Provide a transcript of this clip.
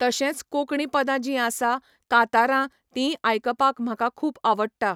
तशेंच कोंकणी पदां जीं आसा, कांतारां तींय आयकपाक म्हाका खूब आवडटा.